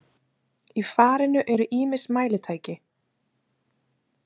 Í farinu eru ýmis mælitæki.